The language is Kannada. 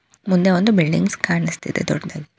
ಮುಂದೆ ಒಂದು ಬಿಲ್ಡಿಂಗ್ಸ್ ಕಾಣ್ಸುಸ್ತಿದೆ ದೊಡ್ಡದು.